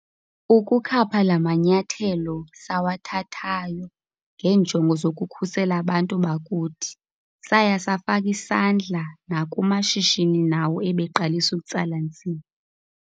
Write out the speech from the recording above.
Ukukhapha la manyathelo sawathathayo ngeenjongo zokukhusela abantu bakuthi, saya safaka isandla nakumashishini nawo ebeqalisa ukutsala nzima.